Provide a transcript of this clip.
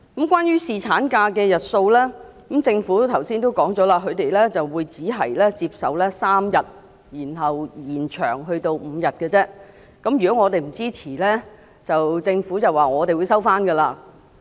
關於侍產假日數，政府剛才已表明，只接受由3天延長至5天，而如果我們不支持的話，便會收回有關修訂。